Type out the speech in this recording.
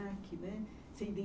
né. Você